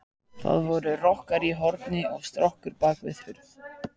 Þar voru rokkar í horni og strokkur bak við hurð.